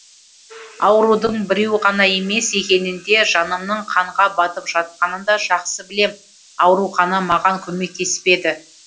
аурудың біреу ғана емес екенін де жанымның қанға батып жатқанын да жақсы білем аурухана маған көмектеспеді